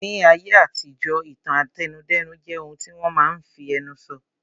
Ní ayé àtijọ́, ìtàn àtẹnudẹ́nu jẹ́ ohun tí wọ́n máa n fi ẹnu sọ